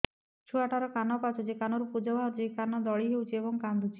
ଛୁଆ ଟା ର କାନ ପାଚୁଛି କାନରୁ ପୂଜ ବାହାରୁଛି କାନ ଦଳି ହେଉଛି ଏବଂ କାନ୍ଦୁଚି